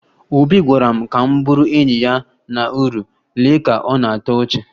Obi gwara m ka m bụrụ enyi ya na uru, lee ka ọ na-atọ ọchị